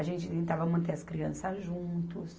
A gente tentava manter as crianças juntos.